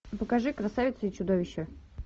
покажи красавица и чудовище